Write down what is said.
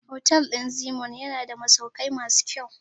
Hotel ɗin Zeennoor yana da masaukai masu kyau.